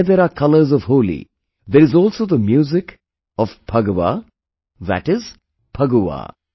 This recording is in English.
Where there are colors of Holi, there is also the music of Phagwa that is Phagua